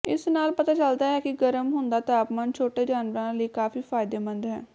ਇਸ ਨਾਲ ਪਤਾ ਚੱਲਦਾ ਹੈ ਕਿ ਗਰਮ ਹੁੰਦਾ ਤਾਪਮਾਨ ਛੋਟੇ ਜਾਨਵਰਾਂ ਲਈ ਕਾਫੀ ਫਾਇਦੇਮੰਦ ਹੈ